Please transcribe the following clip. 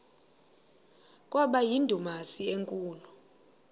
kwaba yindumasi enkulu